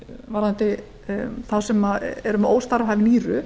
varðandi þá sem eru með óstarfhæf nýru